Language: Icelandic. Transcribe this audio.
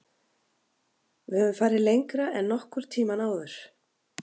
Við höfum farið lengra en nokkur tímann áður.